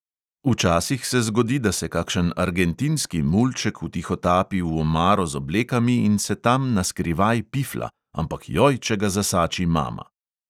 Včasih se zgodi, da se kakšen argentinski mulček vtihotapi v omaro z oblekami in se tam na skrivaj pifla, ampak joj, če ga zasači mama!